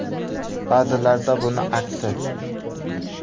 Ba’zilarida buning aksi.